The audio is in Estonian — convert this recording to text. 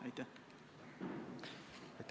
Aitäh!